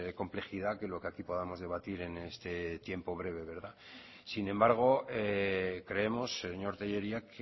complejidad que lo que aquí podamos debatir en este tiempo breve verdad sin embargo creemos señor telleria